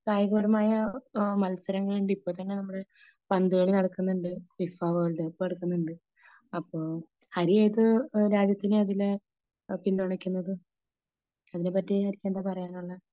കായികപരമായ മത്സരങ്ങൾ ഉണ്ട് . ഇപ്പോ തന്നെ നമ്മുടെ പന്ത് കളി നടക്കുന്നുണ്ട് . ഫിഫ വേൾഡ് കപ്പ് നടക്കുന്നുണ്ട് . അപ്പോ ഹരി ഏത് രാജ്യത്തിനാ അതില് പിന്തുണയ്ക്കുന്നത് ? അതിനെ പറ്റി ഹരിക്ക് എന്താ പറയാനുള്ളത് ?